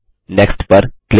next पर click करें